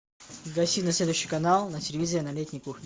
гаси на следующий канал на телевизоре на летней кухне